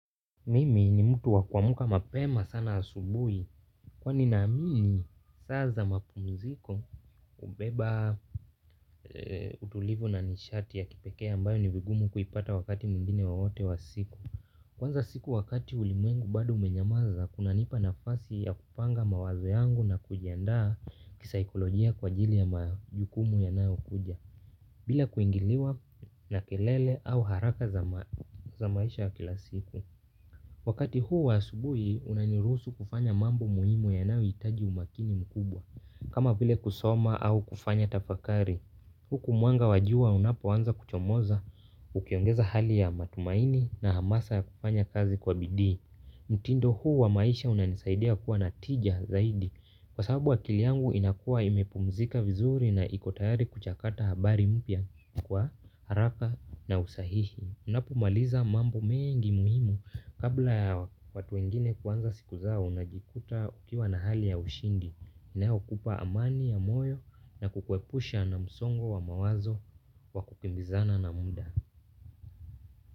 Mimi ni mtu wakuamka mapema sana asubui. Kwani naamini saa za mapumziko hubeba utulivu na nishati ya kipekee ambayo ni vigumu kuipata wakati mwingine wowote wa siku. Kuanza siku wakati ulimwengu bado umenyamaza kuna nipa nafasi ya kupanga mawazo yangu na kujiandaa kisaikolojia kwa ajili ya majukumu ya nayo kuja. Bila kuingiliwa na kelele au haraka za maisha ya kila siku. Wakati huu wa asubuhi unaniruhusu kufanya mambo muhimu yanayohitaji umakini mkubwa, kama vile kusoma au kufanya tafakari. Huku mwanga wa jua unapoanza kuchomoza, ukiongeza hali ya matumaini na hamasa ya kufanya kazi kwa bidii. Mtindo huu wa maisha unanisaidia kuwa na tija zaidi, kwa sababu wa akili yangu inakua imepumzika vizuri na ikotayari kuchakata habari mpya kwa haraka na usahihi. Unapomaliza mambo mengi muhimu kabla ya watu wengine kuanza siku zao una jikuta ukiwa na hali ya ushindi na okupa amani ya moyo na kukuepusha na msongo wa mawazo wa kukimbizana na muda.